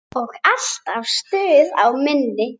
Og alltaf stuð á minni.